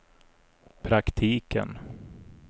praktiken